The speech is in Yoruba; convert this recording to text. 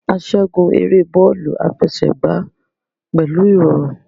A ṣẹgun ere bọọlu afẹsẹgba pẹlu irọrun